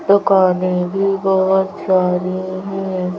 दुकानें भी बहोत सारी है।